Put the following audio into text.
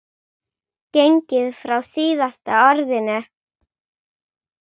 gengið frá SÍÐASTA ORÐINU.